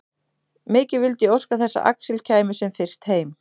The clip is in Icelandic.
Mikið vildi ég óska þess að Axel kæmi sem fyrst heim.